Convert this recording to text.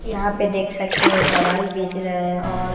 यहां पे देख सकते हैं दवाई बेच रहे हैं और--